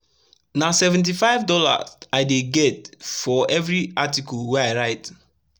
na $75 i dey get for everi article wey i write